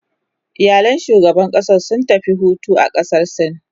iyalan shugaban ƙasan sun tafi Hutu a ƙasar sin